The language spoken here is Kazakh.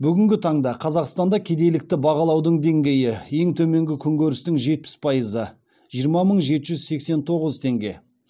бүгінгі таңда қазақстанда кедейлікті бағалаудың деңгейі ең төменгі күнкөрістің жетпіс пайызы